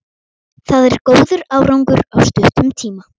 Það er góður árangur á stuttum tíma.